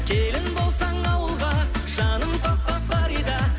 келін болсаң ауылға жаным фарида